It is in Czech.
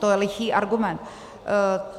To je lichý argument.